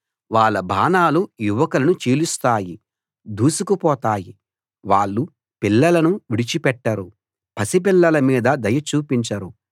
వాళ్ళ బాణాలు యువకులను చీలుస్తాయి దూసుకుపోతాయి వాళ్ళు పిల్లలను విడిచిపెట్టరు పసిపిల్లల మీద దయ చూపించరు